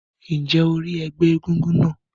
Ǹjẹ́ o rí ẹgbẹ́ egúngún náà?